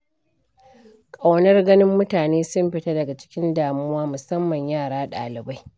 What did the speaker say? Ƙaunar ganin mutane sun fita daga cikin damuwa musamman yara ɗalibai.